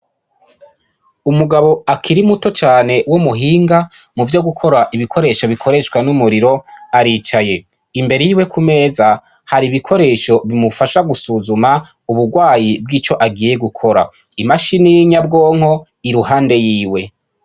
Umugabo akiri muto cane w'umuhinga muvyo gukora ibikoresho bikoreshwa n'umuriro, aricaye. Imbere yiwe ku meza, hari ibikoresho bimufasha gusuzuma ubugwayi bw'ico agiye gukora. Imashini y'inyabwonko iruhande yiwe.